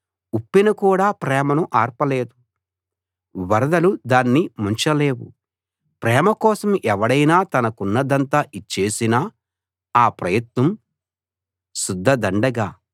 ఉప్పెన కూడా ప్రేమను ఆర్పలేదు వరదలు దాన్ని ముంచలేవు ప్రేమ కోసం ఎవడైనా తనకున్నదంతా ఇచ్చేసినా ఆ ప్రయత్నం శుద్ధ దండగ